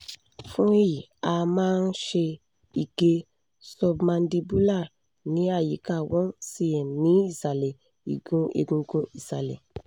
fún èyí a a máa ń ṣe ìgé submandibular ní àyíká one cm ní ìsàlẹ̀ igun egungun ìsálẹ̀